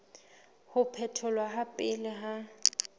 ho phetholwa ha pele ha